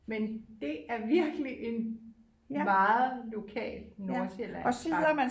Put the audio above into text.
Men det er virkelig en meget lokal nordsjællandsk ret